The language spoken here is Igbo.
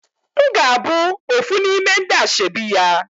Mgabu ofu nime ndi ashebi ya